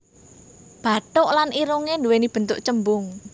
Bathuk lan irungé nduwéni bentuk cembung